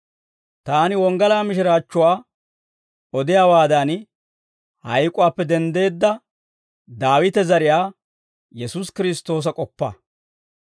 Taani wonggalaa mishiraachchuwaa odiyaawaadan, hayk'uwaappe denddeedda Daawite zariyaa Yesuusi Kiristtoosa k'oppa.